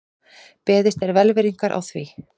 Beðist er velvirðingar á því